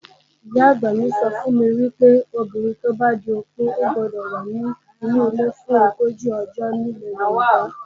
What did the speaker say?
Ìyá-àgbà mi sọ fún mi wípé, obìnrin tó bá di opó gbọ́dọ̀ wà nínu ilé fún ogójì ọjọ́ nílẹ̀ Yorùbá.